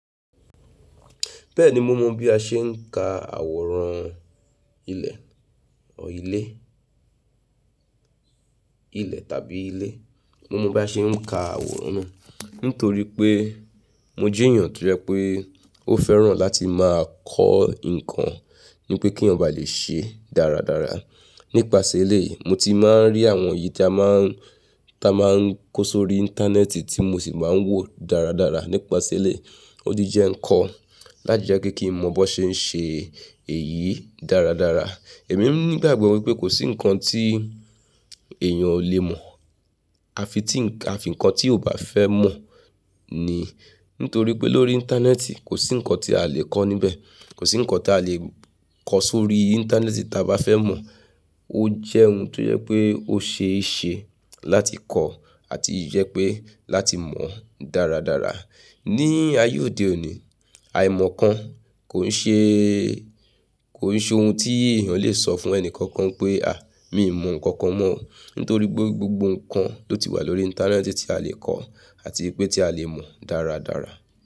Bẹ́ẹ̀ni mo mọ bí a ṣe ń ka àwòrán ilẹ̀, or ilé, ilẹ̀ tàbí ilé. Mo mọ bí a ṣe ń ka àwòrán náà nítorí pé mo jẹ́ èyàn tó jẹ pé ó fẹ́ràn láti máa kọ́ ǹkan ni pé kí eyan ba le ṣe dáradára. Nípasẹ̀ eléyìí mo ti máa ń rí àwọn èyí tí a máa ń, tí a máa ń kó sórí Íńtánẹ́ẹ̀tì tí mo sì máa ń wò dáradára. Nípasẹ̀ eléyìí ó ti jẹ́ nǹkan láti jẹ́ kí kí mo mọ̀ bó ṣe ń ṣe èyí dáradára. Èmi nígbàgbọ́ wípé kò sí ǹkan tí èyàn ò lè mọ̀ àfi tí ń ka, àfi ǹkan tí ò bá fẹ́ mọ̀ ni. Nítorí pé lórí Íńtánẹ́ẹ̀tì kò sí nǹkan tí a lè kọ́ níbẹ̀, kò sí nǹkan tí a lè kọ́ sórí Íńtánẹ́ẹ̀tì tí a bá fẹ́ mọ̀. Ó jẹ́ ohun tó jẹ pé ó ṣe é ṣe láti kọ́ àti ìjẹ́ pé láti mọ̀ dáradára. Ní ayé òde òní àìmọ̀ kan kò ń ṣe, kò ń ṣe ohun tí èèyàn lè sọ fún ẹni kankan pé a, míì mọ̀ ǹkan kan mọ́ nítorí pé gbogbo ǹkan ló ti wà lórí Íńtánẹ́ẹ̀tì tí a lè kọ́ àti pé tí a lè mọ̀ dáradára.